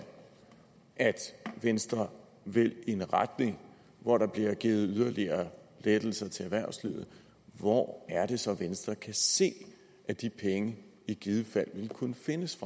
at venstre vil i en retning hvor der bliver givet yderligere lettelser til erhvervslivet hvor er det så venstre kan se at de penge i givet fald vil kunne findes